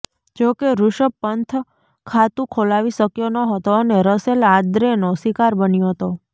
જોકે ઋષભ પંથ ખાતુ ખોલાવી શકયો ન હતો અને રસેલ આંદ્રેનો શિકાર બન્યો હતો